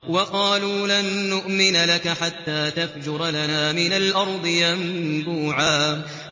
وَقَالُوا لَن نُّؤْمِنَ لَكَ حَتَّىٰ تَفْجُرَ لَنَا مِنَ الْأَرْضِ يَنبُوعًا